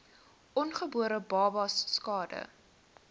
ongebore babas skade